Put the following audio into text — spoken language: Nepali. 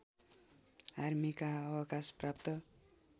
आर्मीका अवकाश प्राप्त